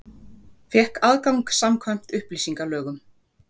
Fékk aðgang samkvæmt upplýsingalögum